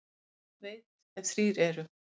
Þjóð veit, ef þrír eru.